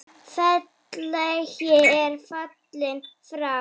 Félagi er fallinn frá.